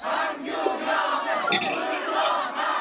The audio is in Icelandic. Orð mín mega sín einskis.